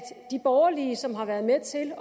de borgerlige som har været med til at